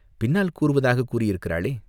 பின்னால் கூறுவதாகக் கூறியிருக்கிறாளே?